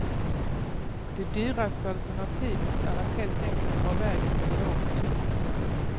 Det dyraste alternativet är att helt enkelt dra vägen i en lång tunnel.